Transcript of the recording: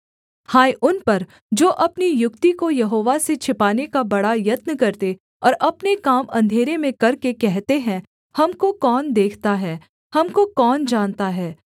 हाय उन पर जो अपनी युक्ति को यहोवा से छिपाने का बड़ा यत्न करते और अपने काम अंधेरे में करके कहते हैं हमको कौन देखता है हमको कौन जानता है